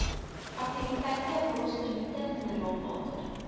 aktiwiteite wollostonite mineraalwater